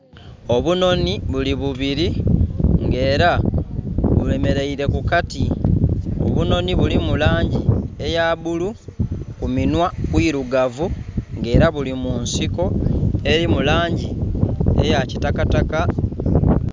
Obunhonhi buli bubiri nga era bwe mereire ku kati, obunhonhi bulimu langi eya bulu, kuminhwa kwirugavu nga era buli mu nsiko eri mu langi eya kitakataka.